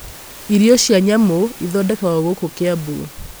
irio cia nyamũ ithondekagwo gũkũ Kiambu